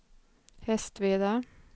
Hästveda